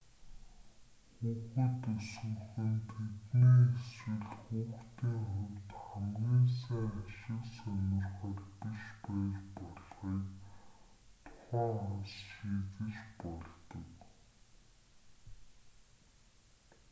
хүүхэд өсгөх нь тэдний эсвэл хүүхдийн хувьд хамгийн сайн ашиг сонирхол биш байж болохыг тухайн хос шийдэж болдог